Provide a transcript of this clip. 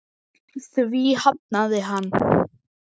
Því hafnaði hann.